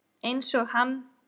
Einsog hann.